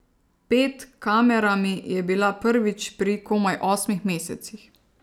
Ped kamerami je bila prvič pri komaj osmih mesecih.